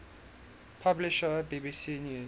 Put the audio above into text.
publisher bbc news